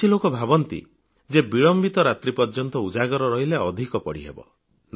କିଛି ଲୋକ ଭାବନ୍ତି ଯେ ବିଳମ୍ବିତ ରାତ୍ରି ପର୍ଯ୍ୟନ୍ତ ଉଜାଗର ରହିଲେ ଅଧିକ ପଢ଼ି ହେବ